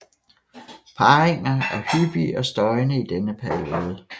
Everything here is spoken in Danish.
Parringer er hyppige og støjende i denne periode